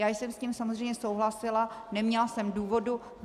Já jsem s tím samozřejmě souhlasila, neměla jsem důvodu.